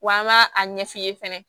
Wa an b'a a ɲɛ f'i ye fɛnɛ